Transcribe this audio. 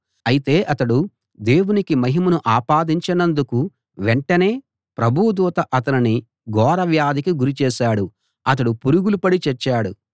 అయితే అతడు దేవునికి మహిమను ఆపాదించనందుకు వెంటనే ప్రభువు దూత అతనిని ఘోర వ్యాధికి గురిచేశాడు అతడు పురుగులు పడి చచ్చాడు